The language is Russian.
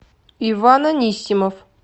иван анисимов